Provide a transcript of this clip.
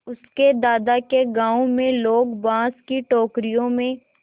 उसके दादा के गाँव में लोग बाँस की टोकरियों में